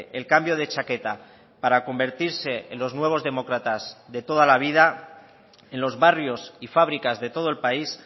el cambio de chaqueta para convertirse en los nuevos demócratas de toda la vida en los barrios y fábricas de todo el país